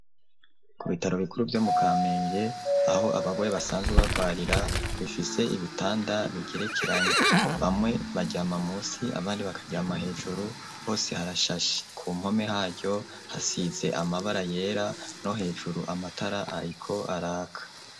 Ku bitaro bikuru vyo mu Kamenge aho abagwaye basanzwe bagwarira rifise ibitanda bigerekeranye, bamwe baryama musi abandi bakaryama hejuru, hose harashashe, ku mpome haryo hasize amabara yera no hejuru amatara ariko araka.